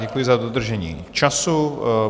Děkuji za dodržení času.